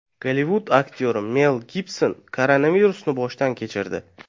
Gollivud aktyori Mel Gibson koronavirusni boshdan kechirdi.